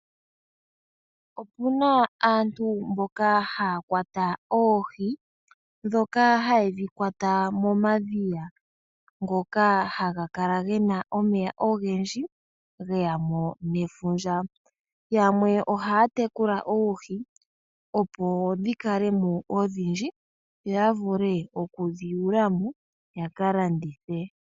Opu na aantu mboka haya kwata oohi ndhoka haye dhi kwata momadhiya ngoka haga kala ge na omeya ogendji ge ya mo nefundja. Yamwe ohaya tekula oohi, opo dhi kale mo odhindji yo ya vule oku dhi yula mo ya ka landithe.